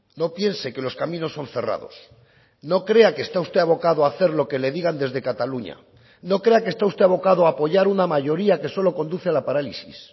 no piense que los caminos son cerrados no crea que está usted abocado a hacer lo que le digan desde cataluña no crea que está usted abocado a apoyar una mayoría que solo conduce a la parálisis